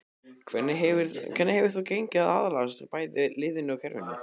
Hvernig hefur þér gengið að aðlagast bæði liðinu og kerfinu?